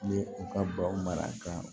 Ni u ka baw mara ka